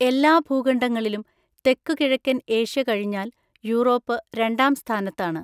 എല്ലാ ഭൂഖണ്ഡങ്ങളിലും തെക്കുകിഴക്കൻ ഏഷ്യ കഴിഞ്ഞാൽ യൂറോപ്പ് രണ്ടാം സ്ഥാനത്താണ്.